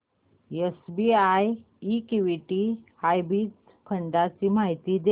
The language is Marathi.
एसबीआय इक्विटी हायब्रिड फंड ची माहिती दे